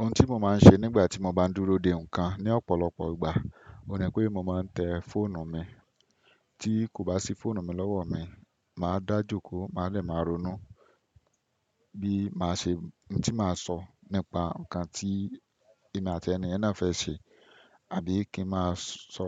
Ohun tí mo máa ń ṣe nígbà tí mo bá dúró de ǹkan ní ọ̀pọ̀lọpọ̀ ìgbà, o ní pé mo máa ń tẹ fóònù mi. Tí kò bá sí fóònù mi lọ́wọ́ mi, màá dáá jokó má dẹ máa ronú bí màá ṣe, n tí màá sọ nípa ǹkan tí èmi àti ẹniyẹn náà fẹ́ ṣe. Àbí kí máa sọ